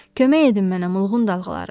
Kömək edin mənə mulğun dalğaları.